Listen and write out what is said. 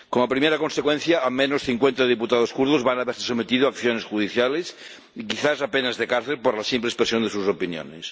Como primera consecuencia, al menos cincuenta diputados kurdos van a verse sometidos a acciones judiciales y quizás a penas de cárcel por la simple expresión de sus opiniones.